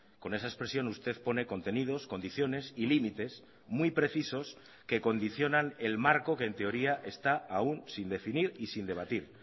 con esa expresión usted pone contenidos condiciones y límites muy precisos que condicionan el marco que en teoría está aún sin definir y sin debatir